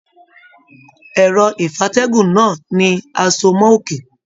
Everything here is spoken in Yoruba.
Ẹrọ ìfatẹ̀gún náà ni a so mọ òkè.